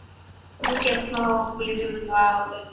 କୋଉଠି କେଶମା ଖୋଲିଛି ଯୋଉ ଗୋଟେ ନୂଆ ଗୋଟେ